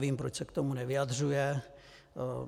Nevím, proč se k tomu nevyjadřuje.